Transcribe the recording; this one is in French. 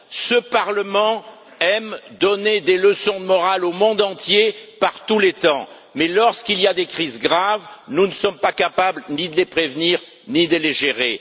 Ce Parlement aime donner des leçons de morale au monde entier par tous les temps, mais lorsqu'il y a des crises graves, nous ne sommes capables ni de les prévenir, ni de les gérer.